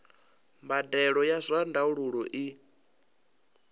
mbadelo ya zwa ndaulo i